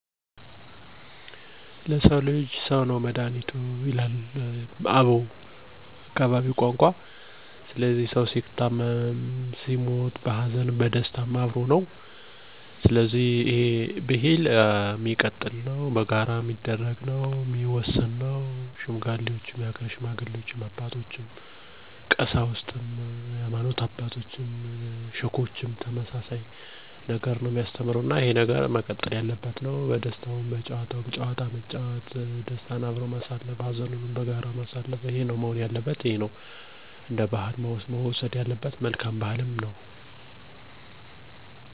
ለሰዉ ልጅ ሰዉ ነዉ መድኋኒቱ፣ በአዘንም ሆነ በደስታ ወቅት ለሰው ልጅ ሰው ያስፈልገዋል። ለሰዉ ልጅ ሰዉ ነዉ ልብሱ፣ ጌጡ፣ ትክሻዉ እና መከተው። ለምን መረዳዳት እያለ መነቃቀፍ፣ መግባባት እያለ መጨቃጨቅ፣ ጨዋታ እያለ መሰዳደብ መጠላላትን ምን አመጠው፤ ይህ የሰይጣን ስራ ነው። እኛ ሰዎች እንደ አባቶቻችን በጋራ መስራት፣ አብሮ መብላት "አብሮ የበላን ቅዱስ ዬሐንስ አይሽረውም"እንደሚለዉ የአገሬ ሰውነው ያለብን። ምንም እንኳ በሰዎች ዘንድ አለመግባባት ወይም ጥል ቢከሰት በሰፈራችን ባህል በሽምግልና አንፈተዋለን። ከዚያም የአካባቢያችን ሰላም እና እድገት የተፋጠነ ይሆናል ማለት ነው።